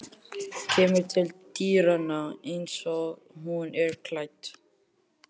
Kemur til dyranna einsog hún er klædd.